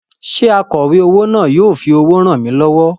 Ṣé akọ̀wé owó náà yóò fi owó ràn mí lọ́wọ́?